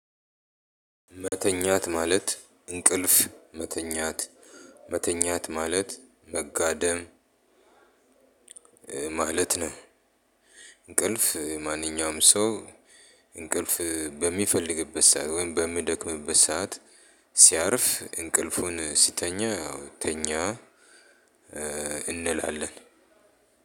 መተኛት ማለት እንቅልፍ መተኛት መተኛት ማለት መጋደም ማለት ነው። እንቅልፍ ማንኛውም ሰው እንቅልፍ በሚፈልግበት ሰዓት ወይም በሚደክምበት ሰዓት ሲያርፍ እንቅልፉን ሲተኛ ተኛ። እንላለን።